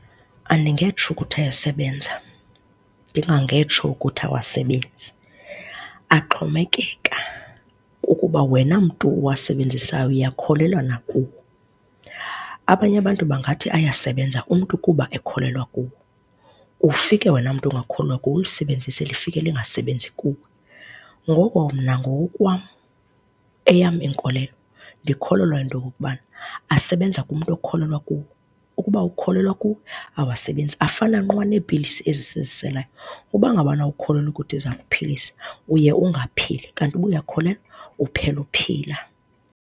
Andingetsho ukuthi ayasebenza ndingangetsho ukuthi awasebenzi. Axhomekeka kukuba wena mntu uwasebenzisayo uyakholelwa na kuwo. Abanye abantu bangathi ayasebenza umntu kuba ukholelwa kuwo. Ufike wena mntu ungakholelwayo kuwo, ulisebenzise lifike lingasebenzi kuwe. Ngoko mna ngokokwam eyam inkolelo ndikholelwa into yokokuba asebenza kumntu okholelwa kuwo. Ukuba awukholelwa kuwo awasebenzi. Afana nqwa neepilisi ezi siziselayo, uba ngabana awukholelwa ukuthi iza kuphilisa uye ungaphili kanti uba uyakholelwa uphela uphila.